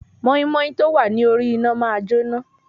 Mọ́ímọ́í tọ́ wá ní orí iná máa jóná,